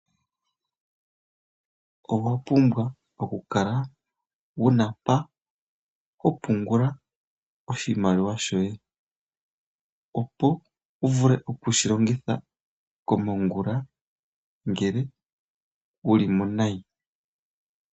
Owa pumbwa okukala wuna mpa ho pungula oshimaliwa shoye opo wu vule oku shi longitha ngele wu li mo nayi.